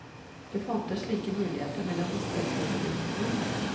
Det fantes slike muligheter mellom disse to bedriftene.